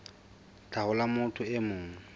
tlhaho la motho e mong